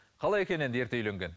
қалай екен енді ерте үйленген